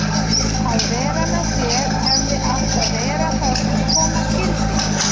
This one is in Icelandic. Að vera með þér hefði átt að vera það sem koma skyldi.